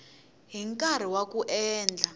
hi nkarhi wa ku endla